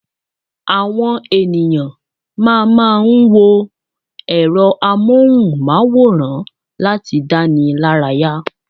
Àwon eniyan mama n wo èro amóhùmaworan lati danilaraya